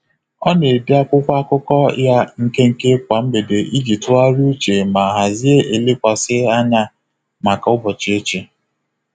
Ọ na-ede akwụkwọ akụkọ ya nkenke kwa mgbede iji tụgharịa uche ma hazie elekwasị anya maka ụbọchị echi.